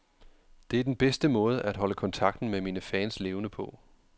Det er den bedste måde at holde kontakten med mine fans levende på.